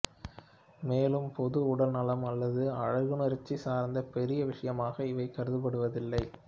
மேலும் பொது உடல்நலம் அல்லது அழகுணர்ச்சி சார்ந்த பெரிய விஷயமாக இவை கருதப்படுவதில்லை